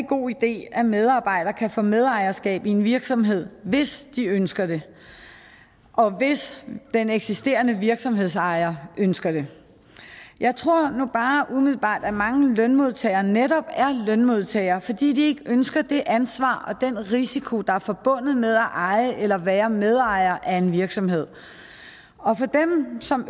god idé at medarbejdere kan få medejerskab af en virksomhed hvis de ønsker det og hvis den eksisterende virksomhedsejer ønsker det jeg tror nu bare umiddelbart at mange lønmodtagere netop er lønmodtagere fordi de ikke ønsker det ansvar og den risiko der er forbundet med at eje eller være medejer af en virksomhed og for dem som